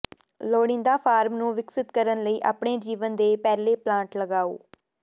ਲੋੜੀਦਾ ਫਾਰਮ ਨੂੰ ਵਿਕਸਿਤ ਕਰਨ ਲਈ ਆਪਣੇ ਜੀਵਨ ਦੇ ਪਹਿਲੇ ਪਲਾਂਟ ਲਗਾਓ